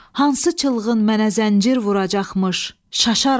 Hansı çılğın mənə zəncir vuracaqmış, şaşaram.